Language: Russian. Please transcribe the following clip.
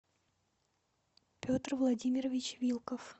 петр владимирович вилков